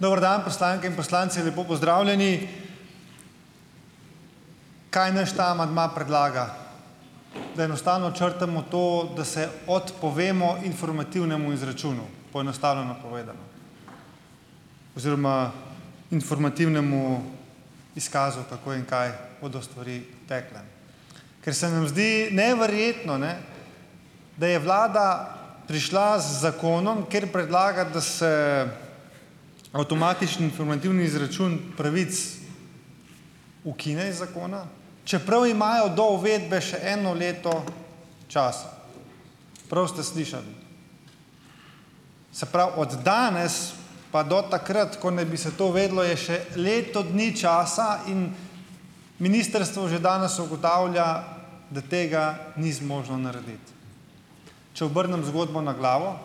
Dober dan, poslanke in poslanci, lepo pozdravljeni! Kaj naš ta amandma predlaga? Da enostavno črtamo to, da se odpovemo informativnemu izračunu, poenostavljeno povedano oziroma informativnemu izkazu, kako in kaj bodo stvari takole. Ker se nam zdi neverjetno, ne, da je Vlada prišla z zakonom, kjer predlaga, da se avtomatični informativni izračun pravic ukine iz zakona, čeprav imajo do uvedbe še eno leto časa. Prav ste slišali. Se pravi, od danes pa do takrat, ko naj bi se to uvedlo, je še leto dni časa in ministrstvo že danes ugotavlja, da tega ni zmožno narediti. Če obrnem zgodbo na glavo,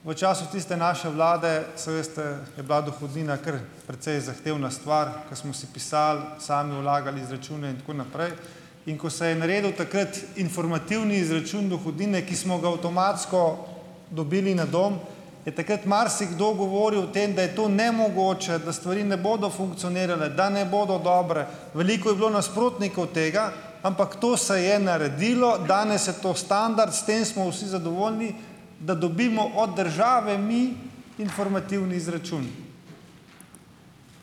v času tiste naše Vlade, saj veste, je bila dohodnina kar precej zahtevna stvar, ko smo si pisali, sami vlagali izračune in tako naprej, in ko se je naredil takrat informativni izračun dohodnine, ki smo ga avtomatsko dobili na dom, je takrat marsikdo govoril o tem, da je to nemogoče, da stvari ne bodo funkcionirale, da ne bodo dobre. Veliko je bilo nasprotnikov tega, ampak to se je naredilo, danes je to standard, s tem smo vsi zadovoljni, da dobimo od države mi informativni izračun.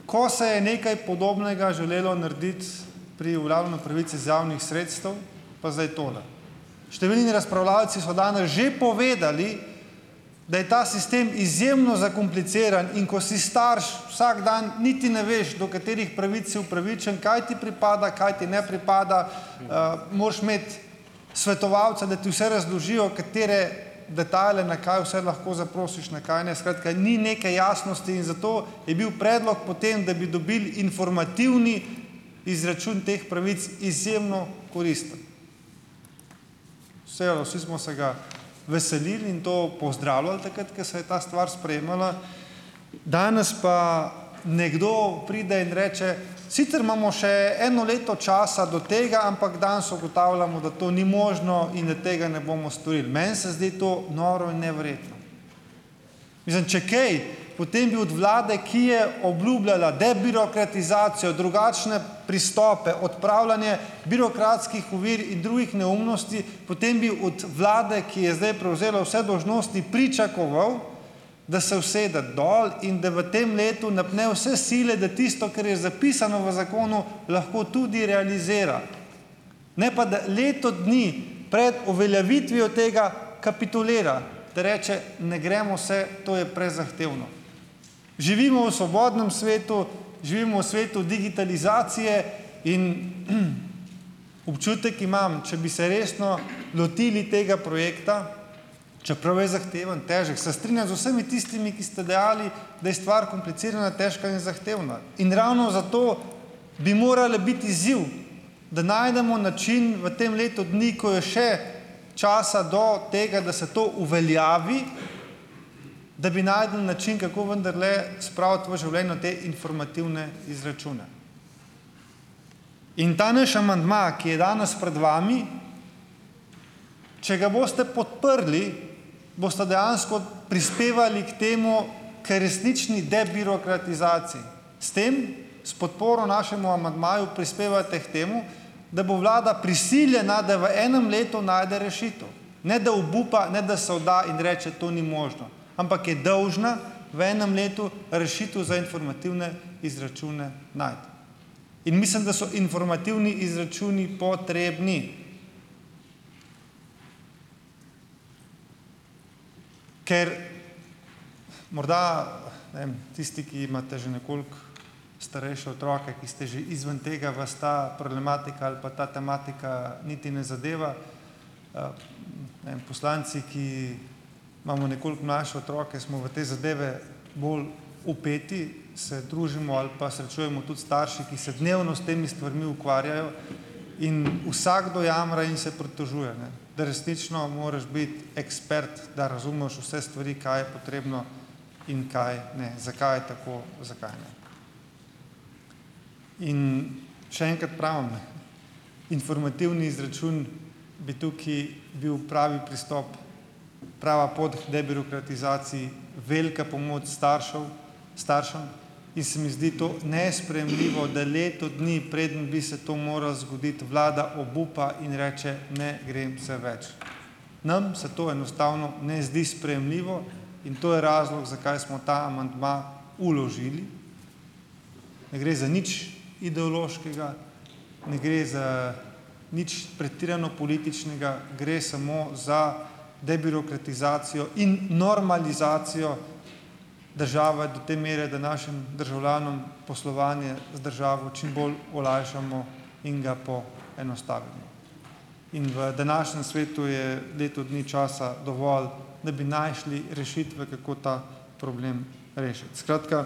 Ko se je nekaj podobnega želelo narediti pri uveljavljanju pravic iz javnih sredstev, pa zdaj tole. Številni razpravljavci so danes že povedali, da je ta sistem izjemno zakompliciran, in ko si starš, vsak dan niti ne veš, do katerih pravic si upravičen, kaj ti pripada, kaj ti ne pripada, moraš imeti svetovalca, da ti vse razložijo, katere detajle, na kaj vse lahko zaprosiš, na kaj ne. Skratka, ni neke jasnosti in zato je bil predlog potem, da bi dobili informativni izračun teh pravic izjemno koristen. Seo vsi smo se ga veselili in to pozdravljali takrat, ko se je ta stvar sprejemala, danes pa nekdo pride in reče, sicer imamo še eno leto časa do tega, ampak danes ugotavljamo, da to ni možno in da tega ne bomo storili. Meni se zdi to noro in neverjetno. Mislim, če kaj, potem bi od Vlade, ki je obljubljala debirokratizacijo, drugačne pristope, odpravljanje birokratskih ovir in drugih neumnosti, potem bi od Vlade, ki je zdaj prevzela vse dolžnosti, pričakoval da se usede dol in da v tem letu napne vse sile, da tisto, kar je zapisano v zakonu, lahko tudi realizira, ne pa, da leto dni pred uveljavitvijo tega kapitulira, da reče, ne gremo se, to je prezahtevno. Živimo v svobodnem svetu, živimo v svetu digitalizacije in občutek imam, če bi se resno lotili tega projekta, čeprav je zahteven, težek, se strinjam z vsemi tistimi, ki ste dejali, da je stvar komplicirana, težka in zahtevna. In ravno zato bi morala biti izziv, da najdemo način v tem letu dni, ko je še časa do tega, da se to uveljavi, da bi našli način, kako vendarle spraviti v življenje te informativne izračune. In ta naš amandma, ki je danes pred vami, če ga boste podprli, boste dejansko prispevali k temu, k resnični debirokratizaciji. S tem, s podporo našemu amandmaju prispevate k temu, da bo Vlada prisiljena, da v enem letu najde rešitev, ne da obupa, ne da se vda in reče, to ni možno, ampak je dolžna v enem letu rešitev za informativne izračune najti. In mislim, da so informativni izračunu potrebni, ker morda, ne vem, tisti, ki imate že nekoliko starejše otroke, ki ste že izven tega, vas ta problematika ali pa ta tematika niti ne zadeva. Nam, poslanci, ki imamo nekoliko mlajše otroke, smo v te zadeve bolj vpeti, se družimo ali pa srečujemo tudi s starši, ki se dnevno s temi stvarmi ukvarjajo, in vsakdo jamra in se pritožuje, ne. Da resnično moraš biti ekspert, da razumeš vse stvari, kaj je potrebno in kaj ne. Zakaj je tako, zakaj ne. In še enkrat pravim, ne, - informativni izračun bi tukaj bil pravi pristop, prava pot k debirokratizaciji, velika pomoč staršev staršem in se mi zdi to nesprejemljivo, da leto dni, preden bi se to moralo zgoditi, vlada obupa in reče: "Ne grem se več." Nam se to enostavno ne zdi sprejemljivo in to je razlog, zakaj smo ta amandma vložili. Ne gre za nič ideološkega, ne gre za nič pretirano političnega, gre samo za debirokratizacijo in normalizacijo države do te mere, da našim državljanom poslovanje z državo čim bolj olajšamo in ga poenostavimo. In v današnjem svetu je leto dni časa dovolj, da bi našli rešitve, kako ta problem rešiti. Skratka,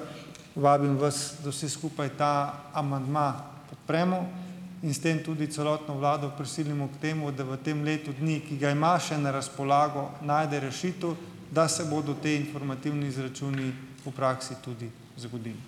vabim vas, da vsi skupaj ta amandma podpremo in s tem tudi celotno vlado prisilimo k temu, da v tem letu dni, ki ga ima še na razpolago, najde rešitev, da se bodo ti informativni izračuni v praksi tudi zgodili.